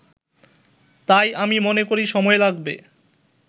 তাই আমি মনে করি সময় লাগবে